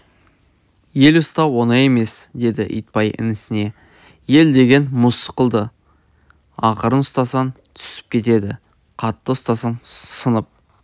ел ұстау оңай емес деді итбай інісіне ел деген мұз сықылды ақырын ұстасаң түсіп кетеді қатты ұстасаң сынып